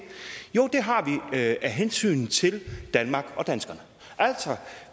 har vi af hensyn til danmark og danskerne